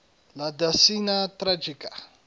la decena tragica